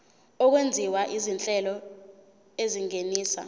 okwenziwa izinhlelo ezingenisa